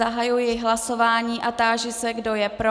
Zahajuji hlasování a táži se, kdo je pro.